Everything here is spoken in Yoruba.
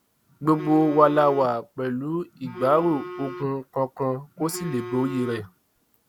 gbogbo wa la wà pẹlú ìgbárò ogun kankan kó sì lè borí rẹ